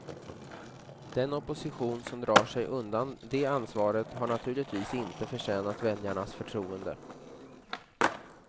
Den oppostion som drar sig undan det ansvaret har naturligtvis inte förtjänat väljarnas förtroende.